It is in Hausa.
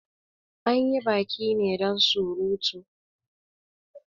Anyi baki ne dan surutu